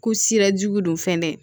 Ko sira jugu don fɛn tɛ dɛ